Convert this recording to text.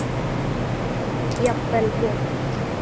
Jafnvel vont.